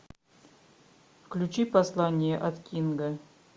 включи послание от кинга